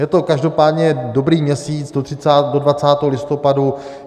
Je to každopádně dobrý měsíc, do 20. listopadu.